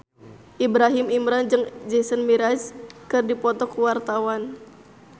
Ibrahim Imran jeung Jason Mraz keur dipoto ku wartawan